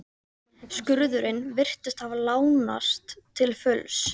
Skurðurinn virtist hafa lánast til fulls.